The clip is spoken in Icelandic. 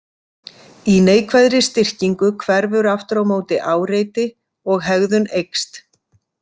Í neikvæðri styrkingu hverfur aftur á móti áreiti og hegðun eykst.